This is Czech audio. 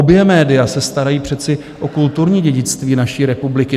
Obě média se starají přece o kulturní dědictví naší republiky.